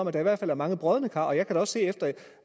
at der i hvert fald er mange brodne kar jeg kan da også se efter